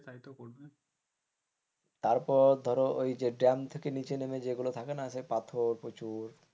তারপর ধরো ওই যে থেকে নিচে নেমে যেগুলো থাকে না পাথর প্রচুর,